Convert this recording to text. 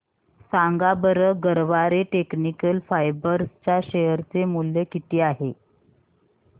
सांगा बरं Garware technical fibres च्या शेअर चे मूल्य किती आहे